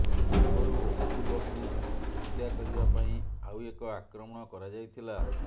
ପୂର୍ବରୁ ଅବଦୁଲଙ୍କୁ ହତ୍ୟାକରିବା ପାଇଁ ଆଉ ଏକ ଆକ୍ରମଣ କରାଯାଇଥିଲା